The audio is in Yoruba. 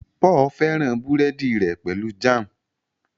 Paul féràn burẹdi rè pẹlú Jam.